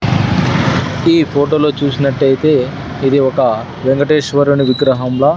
ఈ ఫోటోలో చూసినట్టైతే ఇది ఒక వెంకటేశ్వరుని విగ్రహంలా--